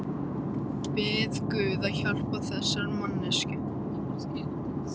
Bið guð að hjálpa þessari manneskju.